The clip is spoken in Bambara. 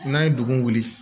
N'a ye dugu wuli